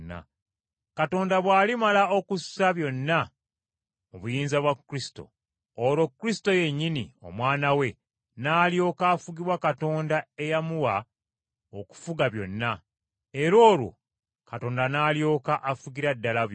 Katonda bw’alimala okussa byonna mu buyinza bwa Kristo, olwo Kristo yennyini, Omwana we, n’alyoka afugibwa Katonda eyamuwa okufuga byonna. Era olwo Katonda n’alyoka afugira ddala byonna.